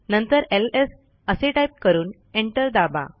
नंतर एलएस असे टाईप करून एंटर दाबा